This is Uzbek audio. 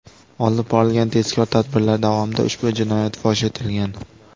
Olib borilgan tezkor tadbirlar davomida ushbu jinoyat fosh etilgan.